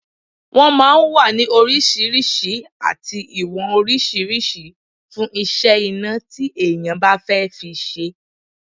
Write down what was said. Wọ́n máa ń wà ní oríṣiríṣi àti ìwọ̀n oríṣiríṣi fún iṣẹ́ iná tí èèyàn bá fẹ́ fi ṣe